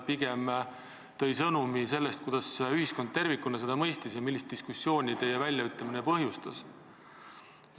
Pigem tõi ta sõnumi selle kohta, kuidas ühiskond tervikuna neid sõnu mõistis ja millist diskussiooni teie väljaütlemine põhjustas.